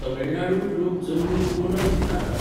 तमिळनाडूंत लोक जमनीर कोलम चितारतात.